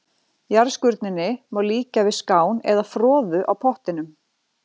Jarðskurninni má líkja við skán eða froðu á pottinum.